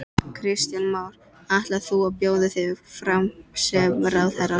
Kristján Már: Ætlar þú að bjóða þig fram sem ráðherra?